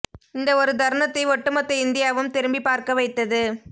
இந்த ஒரு தருணத்தை ஒட்டுமொத்த இந்தியாவும் திரும்பி பார்க்க வைத்தது